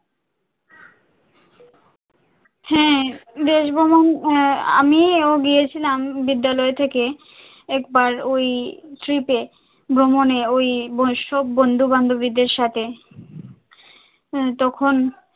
হ্যাঁ দেশ ভ্রমন আহ আমিও গিয়েছিলাম, বিদ্যালয় থেকে একবার ওই trip এ ভ্রমণে ওইসব বন্ধু বান্ধবীদের সাথে, হ্যাঁ তখন